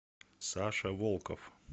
саша волков